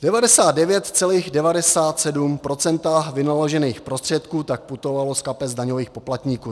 99, 97 % vynaložených prostředků tak putovalo z kapes daňových poplatníků.